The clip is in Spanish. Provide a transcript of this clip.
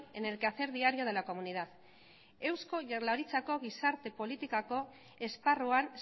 en el quehacer diario de la comunidad eusko jaurlaritzako gizarte politikako esparruan